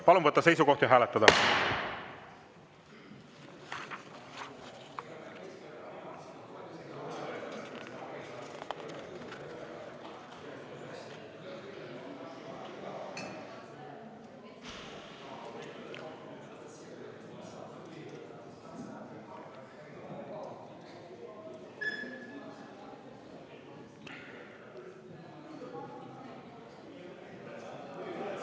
Palun võtta seisukoht ja hääletada!